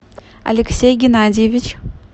алексей геннадьевич